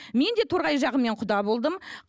мен де торғай жағымен құда болдым